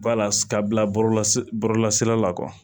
Ba lase ka bila bɔlɔlɔ la bɔlɔlɔsira la